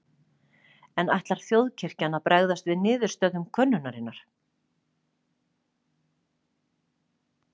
En ætlar þjóðkirkjan að bregðast við niðurstöðum könnunarinnar?